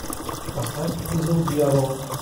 поставь узел дьявола